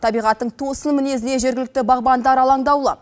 табиғаттың тосын мінезіне жергілікті бағбандар алаңдауды